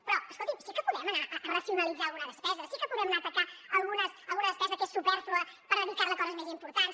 però escolti’m sí que podem anar a racionalitzar alguna despesa sí que podem anar a atacar alguna despesa que és supèrflua per dedicar la a coses més importants